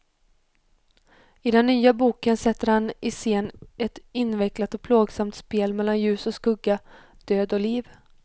I den nya boken sätter han i scen ett invecklat och plågsamt spel mellan ljus och skugga, död och liv.